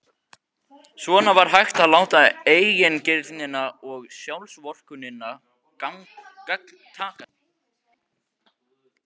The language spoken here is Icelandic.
Svona var hægt að láta eigingirnina og sjálfsvorkunnina gagntaka sig.